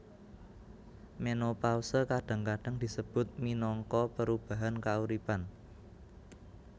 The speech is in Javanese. Menopause kadang kadang disebut minangka perubahan kauripan